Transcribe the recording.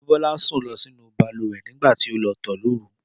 Débọ́lá sùn lọ sínú balùwẹ̀ nígbà tí ó lọ tọ̀ lóru